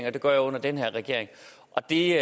og det gør jeg under den her regering og det